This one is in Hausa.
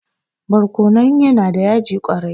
barkonon yana da yaji kwarai